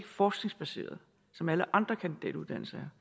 forskningsbaseret som alle andre kandidatuddannelser